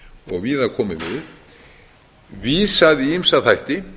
og víða komið við vísað í ýmsa þætti